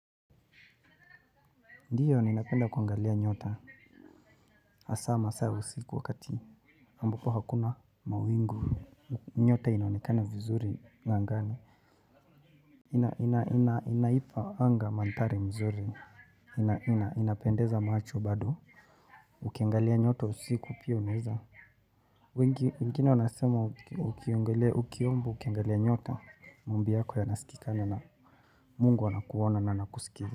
Ndiyo ninapenda kuangalia nyota hasaa masaa ya usiku wakati ambapo hakuna mawingu nyota inaonekana vizuri angani. Inaipa anga manthari mzuri, inapendeza macho bado, ukiangalia nyota usiku pia unaeza. Mkiona wanasema ukiomba ukiangalia nyota maombi yako ya nasikika na mungu wana kuona na na kusikiza.